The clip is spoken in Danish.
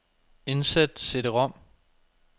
Indsæt cd-rom.